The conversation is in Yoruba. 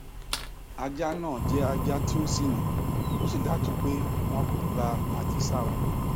ajá náà jẹ ajá tí ó ṣìnà ó sì dájú pé wọn kò gba àjẹsára